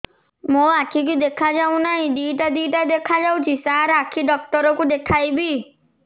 ମୋ ଆଖିକୁ ଦେଖା ଯାଉ ନାହିଁ ଦିଇଟା ଦିଇଟା ଦେଖା ଯାଉଛି ସାର୍ ଆଖି ଡକ୍ଟର କୁ ଦେଖାଇବି